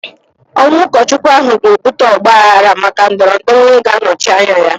Ọnwụ ụkọchukwu ahụ ga-ebute ọgbaaghara maka ndọrọ ndọrọ onye ga-anọchi anya ya.